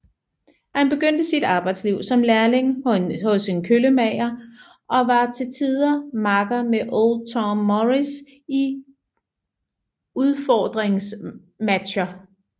Han begyndte sit arbejdsliv som lærling hos en køllemager og var til tider makker med Old Tom Morris i udfordringsmatcher